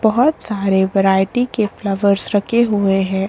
बोहोत सारे वैरायटी के फ्लावर्स रखे हुए हैं।